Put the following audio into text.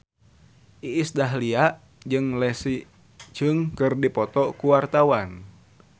Iis Dahlia jeung Leslie Cheung keur dipoto ku wartawan